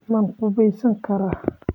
Ma qubaysan karaa?